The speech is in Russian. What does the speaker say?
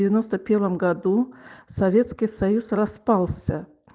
в девяносто первом году советский союз распался